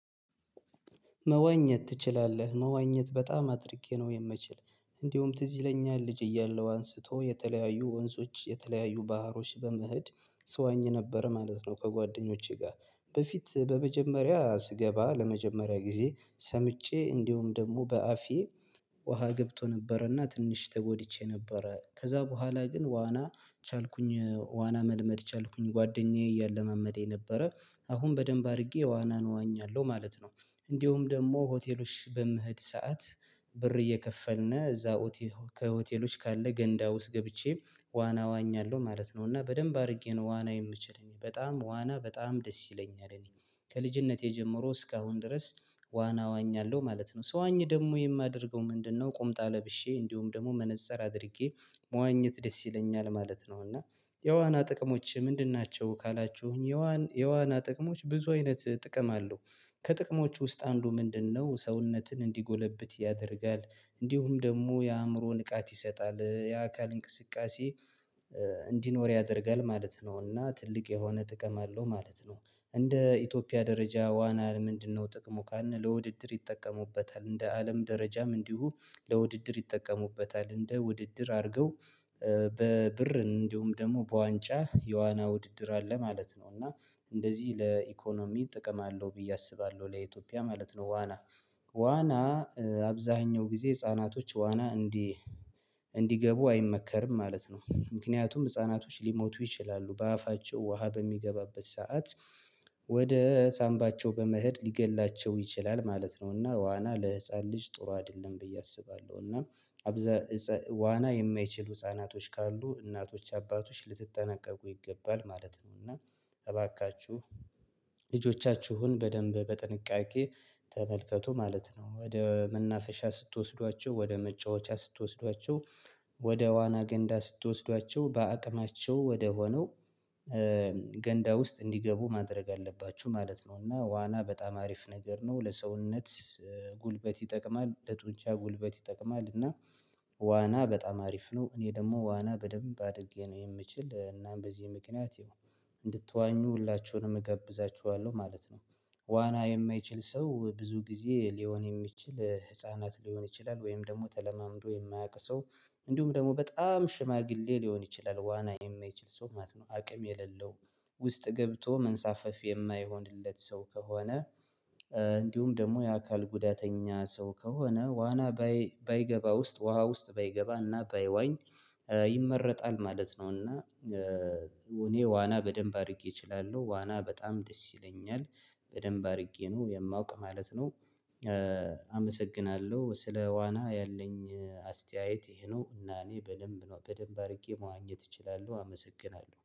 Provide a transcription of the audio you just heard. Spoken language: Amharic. መዋኘት ትችላለህ? መዋኘት በጣም አድርጌ ነው የምችለው። እንዲሁም ትዝ ይለኛል ልጅ እያለሁ አንስቶ የተለያዩ ወንዞች፤ የተለያዩ ባህሮች፤ በመሄድ ስዋኝ ነበር ማለት ነው ከጓደኞቼ ጋር። በፊት በመጀመሪያ ስገባ ለመጀመሪያ ጊዜ ሰምጬ እንዲሁም ደግሞ በአፌ ውሃ ገብቶ ነበርና ትንሽ ተጎድቼ ነበር ከዛ በኋላ ግን ዋና ቻልኩኝ ዋና መልመድ ቻልኩኝ ጓደኛዬ እያለማመዴ ነበረ። አሁን በደንብ አድርጌ ዋናን እዋኛለሁ ማለት ነው። እንዲሁም ደግሞ ሆቴሎች በምህድ ሰዓት ብር እየከፈልነ እዛ ከሆቴሎች ካለ ገንዳ ውስጥ ገብቼ ዋና ዋኛለሁ ማለት ነው። እና በደንብ አድርጌ ነው ዋና የምችል፤ እኔ በጣም ዋና በጣም ደስ ይለኛል። እኔ ከልጅነቴ ጀምሮ እስካሁን ድረስ ዋና ዋኛለሁ ማለት ነው ሰው ዋኝ ደግሞ የማደርገው ምንድነው ቁምጣ ለብሼ፤ እንዲሁም ደግሞ መነፀር አድርጌ፤ መዋኘት ደስ ይለኛል ማለት ነው። እና የዋና ጥቅሞቼ ምንድን ናቸው ካላችሁኝ የዋና የዋና ጥቅሞች ብዙ አይነት ጥቅም አለው ከጥቅሞች ውስጥ አንዱ ምንድነው ሰውነትን እንዲጎለብት ያደርጋል፤ እንዲሁም ደግሞ የአእምሮ ንቃት ይሰጣል፤ የአካል እንቅስቃሴ እንዲኖር ያደርጋል ማለት ነው፤ እና ትልቅ የሆነ ጥቅም አለው ማለት ነው። እንደ ኢትዮጵያ ደረጃ ዋና ምንድነው ጥቅሙ ካለ ለውድድር ይጠቀሙበታል፤ እንደ አለም ደረጃም እንዲሁ፤ ለውድድር ይጠቀሙበታል፤ እንደ ውድድር አድርገው በብር እንዲሁም ደግሞ፤ በዋንጫ የዋና ውድድር አለ ማለት ነው። እና እንደዚህ ለኢኮኖሚ ጥቅም አለው ብዬ አስባለሁ ለኢትዮጵያ ማለት ነው። ዋና ዋና አብዛኛው ጊዜ ህፃናቶች ዋና እንዲህ እንዲገቡ አይመከርም ማለት ነው። ምክንያቱም ህፃናቶች ሊሞቱ ይችላሉ፤ በአፋቸው ውሃ በሚገባበት ሰዓት ወደ ሳምባቸው በመሄድ ሊገድላቸው ይችላል ማለት ነው። እና ዋና ለህፃን ልጅ ጥሩ አይደለም ብዬ አስባለሁ። እና ዋና የማይችሉ ህፃናቶች ካሉ እናቶች አባቶች ልትጠናቀቁ ይገባል ማለት ነው። እና እባካችሁ ልጆቻችሁን በደንብ በጥንቃቄ ተመልከቱ ማለት ነው። ወደ መናፈሻ ስትወስዷቸው፤ ወደ መጫወቻ ስትወስዷቸው፤ ወደ ዋና ገንዳ ስትወስዷቸው፤ በአቅማቸው ወደሆነው ገንዳ ውስጥ እንዲገቡ ማድረግ አለባችሁ ማለት ነው። እና ዋና በጣም አሪፍ ነገር ነው ለሰውነት ጉልበት ይጠቅማል፤ ለጡንቻ ጉልበት ይጠቅማል፤ እና ዋና በጣም አሪፍ ነው እኔ ደግሞ ዋና በደንብ አድጌ ነው የምችል። እናም በዚህ ምክንያት እንድትዋኙ ሁላችሁንም እገብዛችኋለሁ ማለት ነው። ዋና የማይችል ሰው ብዙ ጊዜ ሊሆን የሚችል ህፃናት ሊሆን ይችላል፤ ወይም ደግሞ ተለማምዶ የማያውቅ ሰው እንዲሁም ደግሞ በጣም ሽማግሌ ሊሆን ይችላል፤ ዋና የማይችል ሰው ማለት ነው፤ አቅም የሌለው ውስጥ ገብቶ መንሳፈፍ የማይሆንለት ሰው ከሆነ፤ እንዲሁም ደግሞ የአካል ጉዳተኛ ሰው ከሆነ ዋና ባይገባ ውስጥ ውሃ ውስጥ ባይገባና ባይዋኝ ይመረጣል ማለት ነው። እና እኔ ዋና በደንብ አድርጌ እችላለሁ፤ ዋና በጣም ደስ ይለኛል በደንብ አድርጌ ነው የማውቅ ማለት ነው። አመሰግናለሁ ስለ ዋና ያለኝ አስተያየት ይሄ ነው። እና እኔ በደንብ ነው አድርጌ መዋኘት እችላለሁ አመሰግናለሁ።